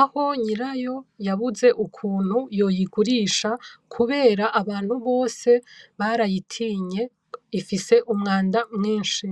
aho nyirayo yabuze ukuntu yoyigurisha kubera abantu bose barayitinye, ifise umwanda mwinshi.